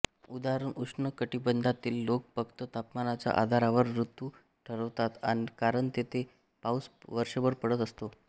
उदा उष्ण कटिबंधातील लोक फक्त तापमानाच्या आधारावर ऋतू ठरवतात कारण तेथे पाऊस वर्षभर पडत असतो